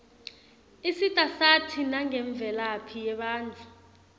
isita sati nangemvelaphi yebatfu